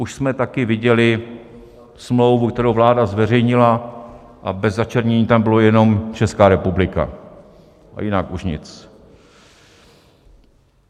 Už jsme taky viděli smlouvu, kterou vláda zveřejnila, a bez začernění tam bylo jenom Česká republika a jinak už nic.